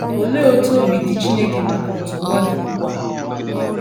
Olee otú obi dị Chineke maka otú ụwa dị ugbu a?